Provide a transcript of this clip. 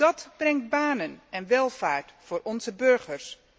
Dat brengt banen en welvaart voor onze burgers.